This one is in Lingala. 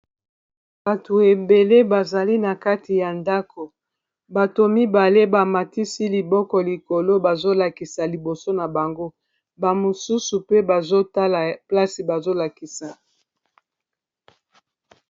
bato ebele bazali na kati ya ndako bato mibale bamatisi liboko likolo bazolakisa liboso na bango bamosusu pe bazotala place bazolakisa